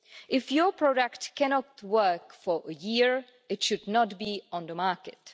If your product cannot work for a year, it should not be on the market.